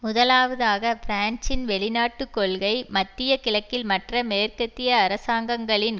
முதலாவதாக பிரான்சின் வெளிநாட்டு கொள்கை மத்திய கிழக்கில் மற்ற மேற்கத்திய அரசாங்கங்களின்